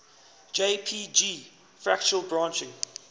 jpg fractal branching